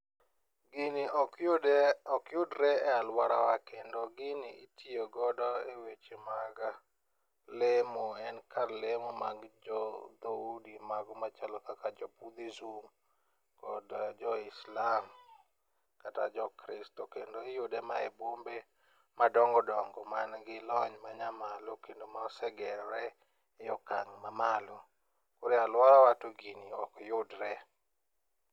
Gini okyudre e alworawa kendo gini itiyogodo e weche mag lemo en kar lemo mag jodhoudi mago machalo kaka jo budhism kod joislam kata jokristo kendo iyude ma e bombe madongodongo mangi lony ma nyamalo kendo mosegerore e okang' mamalo, koro e alworawa to gini ok yudre.